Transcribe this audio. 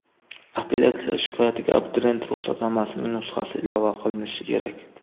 Apellyatsiya shikoyatiga abituriyent ruxsatnomasining nusxasi ilova qilinishi kerak.